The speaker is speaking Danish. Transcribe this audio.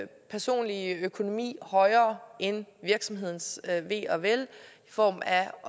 personlige økonomi højere end virksomhedens ve og vel i form af